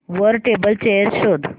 वर table chair शोध